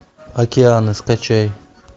океаны скачай